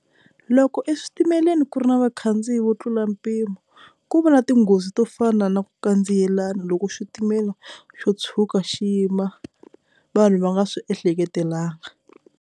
Loko eswitimeleni ku ri na vakhandziyi vo tlula mpimo ku va na tinghozi to fana na ku kandziyelana loko xitimela xo tshuka xi yima vanhu va nga swi ehleketelangi.